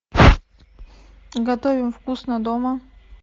готовим вкусно дома